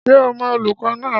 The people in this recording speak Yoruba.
Ṣé ò mọ olùkọ́ náà?